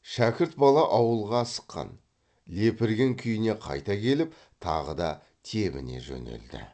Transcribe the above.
шәкірт бала ауылға асыққан лепірген күйіне қайта келіп тағы да тебіне жөнелді